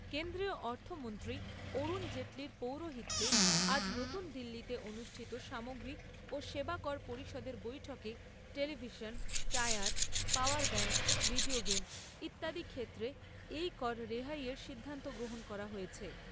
কেন্দ্রীয় অর্থমন্ত্রী অরুণ জেটলির পৌরোহিত্যে আজ নতুন দিল্লীতে অনুষ্ঠিত সামগ্রী ও সেবা কর পরিষদের বৈঠকে television, tyre, power bank, video game ইত্যাদি ক্ষেত্রে এই কর রেহাই এর সিদ্ধান্ত গ্রহণ করা হয়েছে।